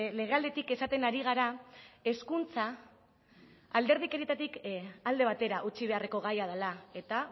legealditik esaten ari gara hezkuntza alderdikerietatik alde batera utzi beharreko gaia dela eta